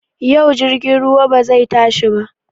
Yau jirgin ruwa bazai tashai ba